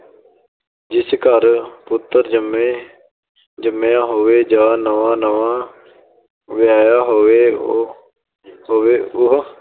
ਜਿਸ ਘਰ ਪੁੱਤਰ ਜੰਮੇ ਜੰਮਿਆ ਹੋਵੇ ਜਾਂ ਨਵਾਂ ਨਵਾਂ ਵਿਆਹਿਆ ਹੋਵੇ, ਉਹ ਹੋਵੇ ਉਹ